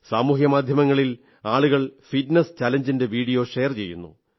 സാമൂഹ്യ മാധ്യമങ്ങളിൽ ആളുകൾ ഫിറ്റ്നസ് ചലഞ്ചിന്റെ വീഡിയോ ഷെയർ ചെയ്യുന്നു